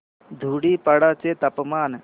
धुडीपाडा चे तापमान